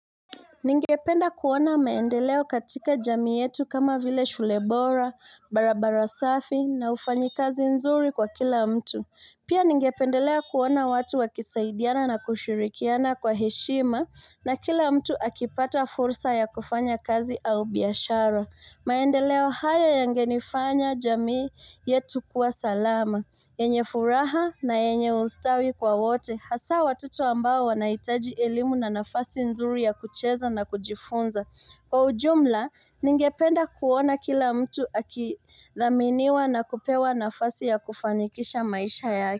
Ningependa kuona maendeleo katika jamii yetu kama vile shule bora, barabara safi na ufanyikazi nzuri kwa kila mtu. Pia ningependelea kuona watu wakisaidiana na kushirikiana kwa heshima na kila mtu akipata fursa ya kufanya kazi au biashara. Maendeleo haya yangenifanya jamii yetu kuwa salama, yenye furaha na yenye ustawi kwa wote, hasaa watoto ambao wanahitaji elimu na nafasi nzuri ya kucheza na kujifunza. Kwa ujumla, ningependa kuona kila mtu akidhaminiwa na kupewa nafasi ya kufanikisha maisha yake.